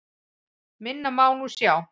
Minna má nú sjá.